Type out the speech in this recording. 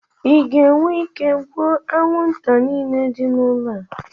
ị ga-enwe ike ịgbu anwụnta niile dị n'ụlọ a?